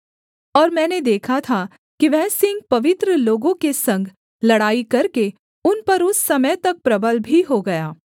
और मैंने देखा था कि वह सींग पवित्र लोगों के संग लड़ाई करके उन पर उस समय तक प्रबल भी हो गया